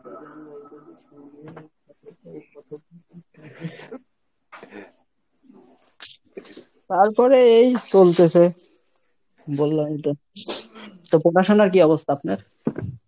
তারপরে এই চলতেছে, বললাম তো, তো পড়াশুনার কী অবস্থা আপনার?